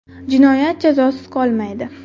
Jinoyat jazosiz qolmaydi.